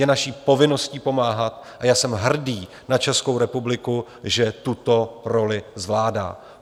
Je naší povinností pomáhat a já jsem hrdý na Českou republiku, že tuto roli zvládá.